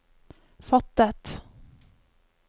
fattet